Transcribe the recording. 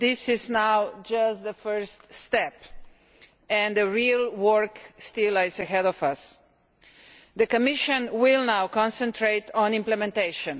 this is just the first step and the real work still lies ahead of us and say that the Commission will now concentrate on implementation.